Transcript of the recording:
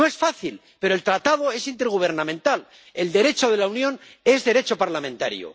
No es fácil, pero el Tratado es intergubernamental, el Derecho de la Unión es Derecho parlamentario.